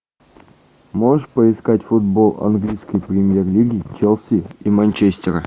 можешь поискать футбол английской премьер лиги челси и манчестера